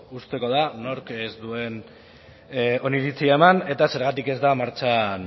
uzteko da nork ez duen oniritzia eman eta zergatik ez da